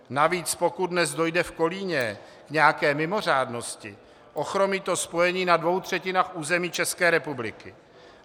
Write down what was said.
Navíc pokud dnes dojde v Kolíně k nějaké mimořádnosti, ochromí to spojení na dvou třetinách území České republiky.